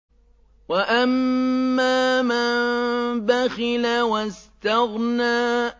وَأَمَّا مَن بَخِلَ وَاسْتَغْنَىٰ